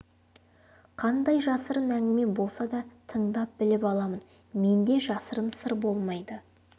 қандай жасырын әңгіме болса да тыңдап біліп аламын менде жасырын сыр болмайды